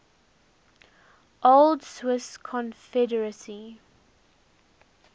old swiss confederacy